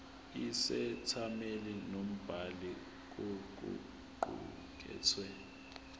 isethameli nombhali kokuqukethwe